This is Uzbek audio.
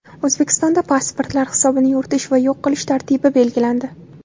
O‘zbekistonda pasportlar hisobini yuritish va yo‘q qilish tartibi belgilandi.